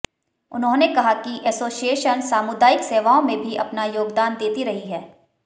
उन्होंने कहा कि एसोसिएशन सामुदायिक सेवाओं में भी अपना योगदान देती रही है